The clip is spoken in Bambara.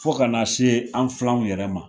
Fo ka n'a se an filanw yɛrɛ ma.